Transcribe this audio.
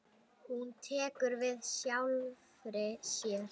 Hún tekur við sjálfri sér.